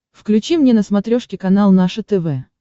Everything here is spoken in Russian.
включи мне на смотрешке канал наше тв